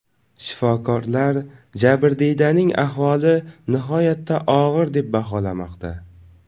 Shifokorlar jabrdiydaning ahvoli nihoyatda og‘ir deb baholamoqda.